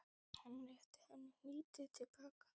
Hann rétti henni hnýtið til baka.